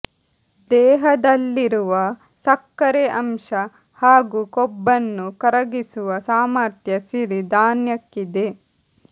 ದೇಹದಲ್ಲಿರುವ ಸಕ್ಕರೆ ಅಂಶ ಹಾಗೂ ಕೊಬ್ಬನ್ನು ಕರಗಿಸುವ ಸಾಮಥ್ರ್ಯ ಸಿರಿ ಧಾನ್ಯಕ್ಕಿದೆ